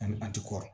Ani an ti kɔrɔn